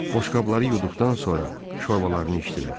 Boşqabları yuduqdan sonra şorbalarını içdilər.